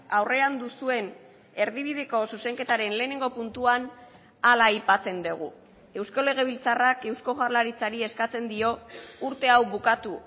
aurrean duzuen erdibideko zuzenketaren lehenengo puntuan hala aipatzen dugu eusko legebiltzarrak eusko jaurlaritzari eskatzen dio urte hau bukatu